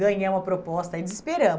Ganhamos a proposta e desesperamo